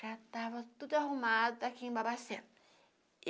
Já tava tudo arrumado aqui em Babacena.